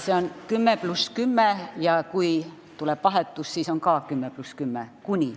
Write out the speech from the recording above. See on kuni 10+10 ja kui tuleb vahetus, siis on ka kuni 10+10.